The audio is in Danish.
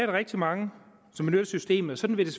rigtig mange som benytter systemet og sådan vil det